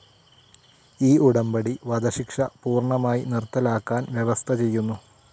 ഈ ഉടമ്പടി വധശിക്ഷ പൂർണ്ണമായി നിർത്തലാക്കാൻ വ്യവസ്ഥ ചെയ്യുന്നു.